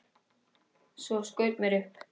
Svo skaut mér upp.